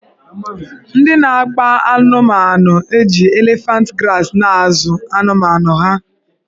Ndị na-akpa anụmanụna-eji elefant grasị na-azụ anụmanụ ha.